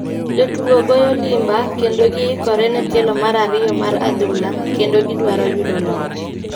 Jotugo goyo limba kendo gi ikore ne tielo mar ariyo mar adhula kendo gi dwaro yudo loch.